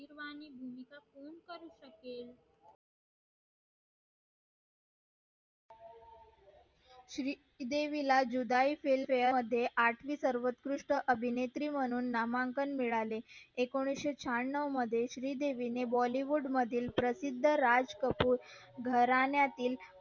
श्रीदेवीला Judaai film fare मध्ये आठवी सर्वंकृष्ट अभिनेत्री म्हणून नामांकन मिळाले एकोणीशे शहाणव मध्ये श्री देवी ने bollywood मधील प्रसिद्ध राज कपूर घराण्यातील